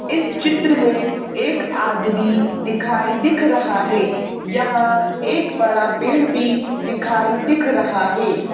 इस चित्र में एक आदमी दिखाई दिख रहा है यहाँ एक बड़ा पेड़ भी दिखाई दिख रहा है।